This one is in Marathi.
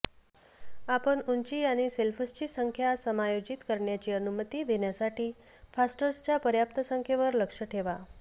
आपण उंची आणि शेल्फ्सची संख्या समायोजित करण्याची अनुमती देण्यासाठी फास्टनर्सच्या पर्याप्त संख्येवर लक्ष ठेवा